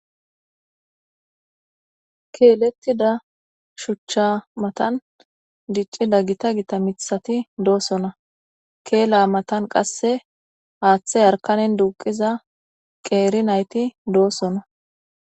Keletidda shuchcha mattani diccida gitta gitta mithati de'osona. Kela mattani qassi hathe duqiza nayiti dossona.